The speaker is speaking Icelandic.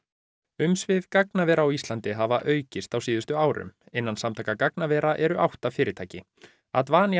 umsvif gagnavera á Íslandi hafa aukist á síðustu árum innan Samtaka gagnavera eru átta fyrirtæki